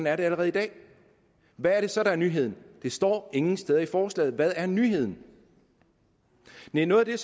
er det allerede i dag hvad er det så der er nyheden det står ingen steder i forslaget hvad der er nyheden næh noget af det